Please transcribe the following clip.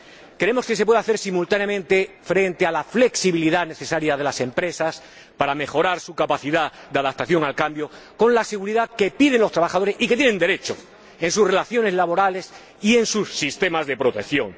Creemos que simultáneamente se puede hacer frente a la flexibilidad necesaria de las empresas para mejorar su capacidad de adaptación al cambio, con la seguridad que piden los trabajadores y a la que tienen derecho en sus relaciones laborales y en sus sistemas de protección.